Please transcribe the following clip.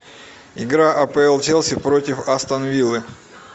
игра апл челси против астон виллы